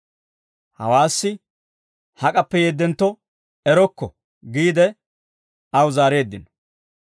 Hawaassi, «Hak'appe yeeddentto erokko» giide aw zaareeddino.